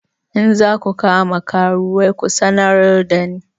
In za ku kama karuwai ku sanar da ni!